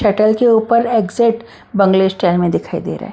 Shuttle के ऊपर exit बंगले स्टाइल में दिखाई दे रहे हैं।